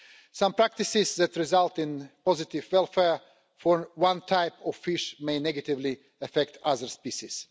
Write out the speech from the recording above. Some practices that result in positive welfare for one type of fish may negatively affect other species.